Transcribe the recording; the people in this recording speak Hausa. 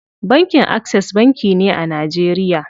Bankin Access banki ne a Najeriya.